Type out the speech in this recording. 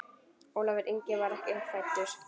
Ólafur Ingi var ekki fæddur.